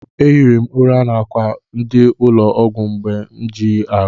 Ehiri m ụra n'akwa ndị ụlọ ọgwụ mgbe na-ejighị ahụ.